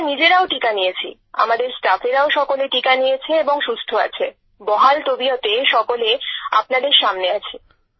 আমরা নিজেরাও টীকা নিয়েছি আমাদের স্টাফেরাও সকলে টীকা নিয়েছে এবং সুস্থ আছে বহাল তবিয়তে সকলে আপনাদের সামনে আছি